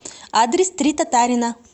адрес три татарина